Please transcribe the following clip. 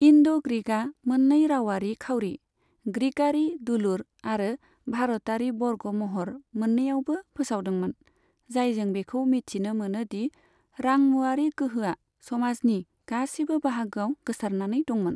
इन्ड' ग्रीकआ मोन्नै रावारि खावरि, ग्रीकआरि 'दुलुर' आरो भारतारि 'बर्ग' महर मोन्नैआवबो फोसावदोंमोन, जायजों बेखौ मिथिनो मोनो दि रांमुवारि गोहोआ समाजनि गासिबो बाहागोआव गोसारनानै दंमोन।